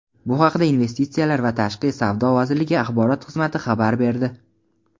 Bu haqda Investitsiyalar va tashqi savdo vazirligi axborot xizmati xabar berdi.